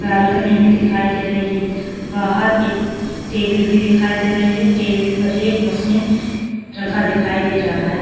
Balcony भी दिखाई दे रही है बाहर एक टेबल भी दिखाई दे रही है टेबल एक मछलियाँ रखा दिखाई दे रहा है।